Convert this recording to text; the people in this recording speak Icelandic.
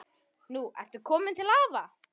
Nú ertu komin til afa.